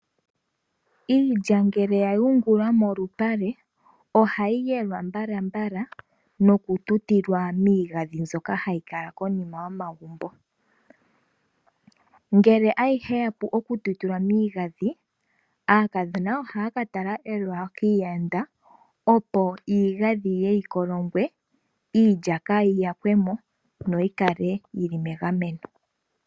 Iilya ngele ya yungulwa momalupale, ohayi yelwa mbalambala noku tutilwa miigandhi mbyoka hayi kala konima yomagumbo. Ngele ayihe ya pu okututilwa miigandhi, aakadhona ohaa katala eloya kiiyanda opo iigandhi yi ye yi kolongwe iilya kaa yi yakwe mo yo oyi kale yi li megameno.